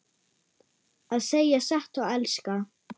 Að segja satt og elska